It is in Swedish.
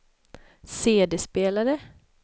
CD-spelare